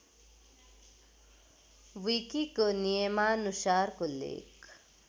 विकिको नियमानुसारको लेख